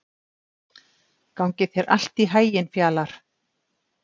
Gangi þér allt í haginn, Fjalarr.